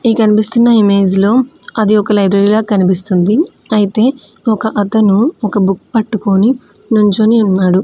ఈ కన్పిస్తున్న ఇమేజ్ లో అది ఒక లైబ్రరీ లాగా కనిపిస్తుంది అయితే ఒక అతను ఒక బుక్ పట్టుకొని నుంచుని ఉన్నాడు.